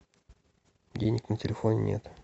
денег на телефоне нет